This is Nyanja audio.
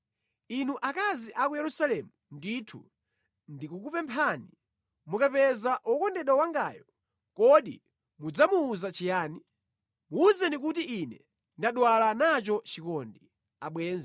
Inu akazi a ku Yerusalemu ndithu ndikukupemphani, mukapeza wokondedwa wangayo, kodi mudzamuwuza chiyani? Muwuzeni kuti ine ndadwala nacho chikondi.